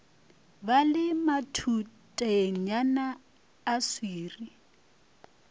ba le matutenyana a swiri